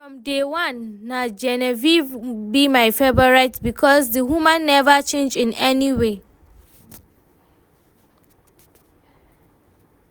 From day one na Genevieve be my favourite because the woman never change in any way